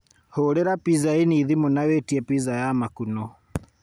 Hũũrĩra Pizza Inn thimũ na witie pizza ya makuno